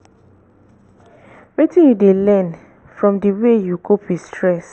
wetin you dey learn from di way you cope with stress?